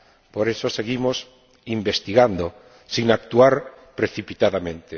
Por eso seguimos investigando sin actuar precipitadamente.